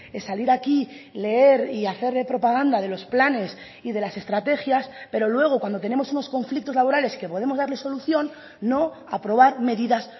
es salir aquí leer y hacer propaganda de los planes y de las estrategias pero luego cuando tenemos unos conflictos laborales que podemos darles solución no aprobar medidas